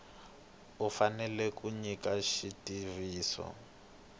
u fanele ku nyika xitiviso